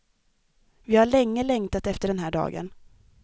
Vi har länge längtat efter den här dagen.